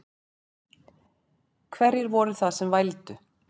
Hverjir voru það sem vældu?